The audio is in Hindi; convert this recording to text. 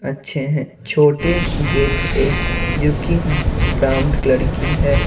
अच्छे हैं छोटे गेट एक युकि ब्राउंड लड़की है।